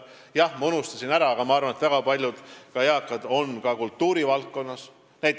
Jah, ma unustasin enne ära, aga ma arvan, et väga paljud eakad on ka kultuurivaldkonnas.